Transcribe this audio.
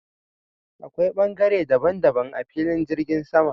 Akwai ɓangare daban daban a filin jirgin sama.